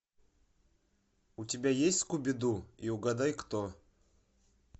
у тебя есть скуби ду и угадай кто